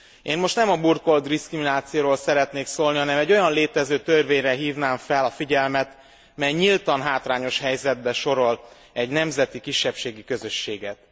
Én most nem a burkolt diszkriminációról szeretnék szólni, hanem egy olyan létező törvényre hívnám fel a figyelmet, mely nyíltan hátrányos helyzetbe sorol egy nemzeti kisebbségi közösséget.